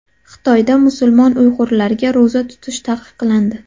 Xitoyda musulmon uyg‘urlarga ro‘za tutish taqiqlandi.